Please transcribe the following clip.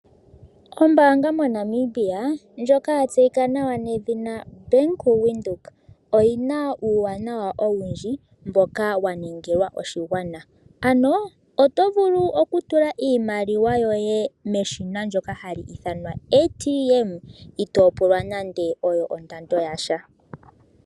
Ombaanga yaWindhoek moNamibia oyina uuwanawa owundji mboka wanuninwa oshigwana. Oto vulu okutula iimaliwa meshina ndyoka lyopondje itoo pulwa iihohela yasha.